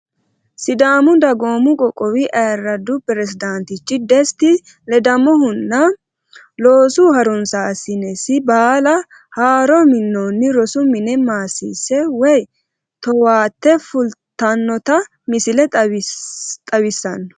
Sidaamu dagoomu qoqowi ayiradu perezidantichi desti ledamohunna loosu harunsasinesi baala haaro minonni rosu mine maasise woyi towaate fulitanotta misile xawisano